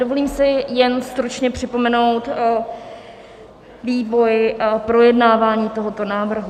Dovolím si jen stručně připomenout vývoj projednávání tohoto návrhu.